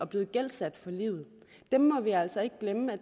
blevet gældsat for livet og dem må vi altså ikke glemme